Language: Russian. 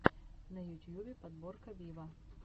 на ютьюбе подборка виво